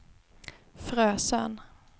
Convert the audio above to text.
Frösön